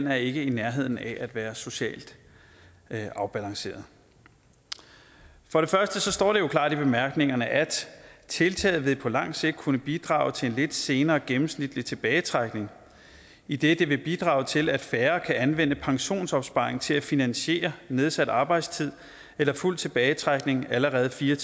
er ikke i nærheden af at være socialt afbalanceret for det første står det jo klart i bemærkningerne at tiltaget på lang sigt vil kunne bidrage til en lidt senere gennemsnitlig tilbagetrækning idet det vil bidrage til at færre kan anvende pensionsopsparingen til at finansiere nedsat arbejdstid eller fuld tilbagetrækning allerede fire